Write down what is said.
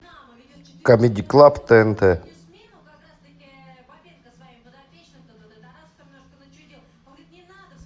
камеди клаб тнт